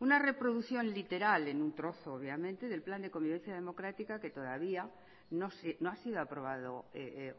una reproducción literal en un trozo obviamente del plan de convivencia democrática que todavía no ha sido aprobado